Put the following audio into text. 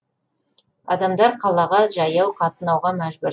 адамдар қалаға жаяу қатынауға мәжбүр